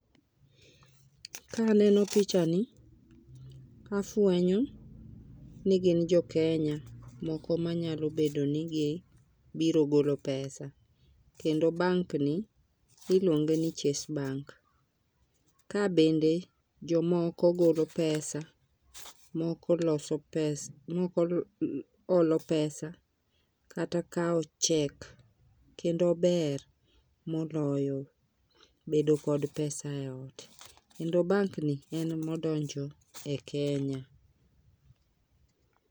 Kaneno pichani tafwenyo ni gin jokenya moko manyalo bedo ni gibiro golo pesa kendo bank ni iluonge ni chase bank . Kaa bende jomoko golo pesa moko loso pesa moko olo pesa kata kawo chek kendo ber moloyo bedo kod pesa e ot kendo bank ni en mo donjo e Kenya.